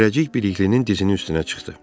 Zərrəcik Biliklinin dizinin üstünə çıxdı.